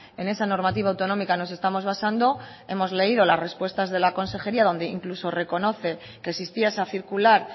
en esa normativa autonómica nos estamos basando hemos leído las respuestas de la consejería incluso donde reconoce que existía esa circular